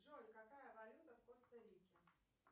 джой какая валюта в коста рике